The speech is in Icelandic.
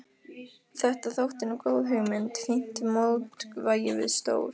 Þetta þótti nú góð hugmynd, fínt mótvægi við stór